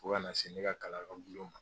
U bɛ kana sɛ ne ka kalan yɔrɔ bulon ma.